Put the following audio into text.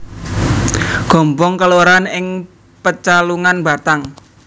Gombong kelurahan ing Pecalungan Batang